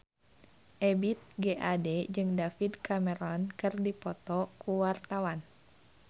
Ebith G. Ade jeung David Cameron keur dipoto ku wartawan